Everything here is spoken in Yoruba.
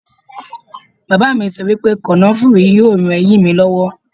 Bàbá mi sọ wípé kànáfùrú yóò ran eyín mi lọ́wọ́.